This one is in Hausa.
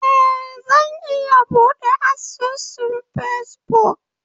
Ee, Zan iya buɗe asusun Facebook.